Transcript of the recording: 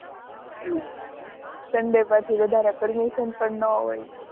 sunday પછી વધારે permission પણ ન હોય